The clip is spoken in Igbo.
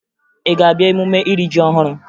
Ị ga-abịa emume iri ji ọhụrụ?